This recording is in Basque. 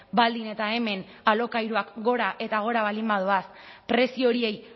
baldin eta hemen alokairuak gora eta gora baldin badoaz prezio horiei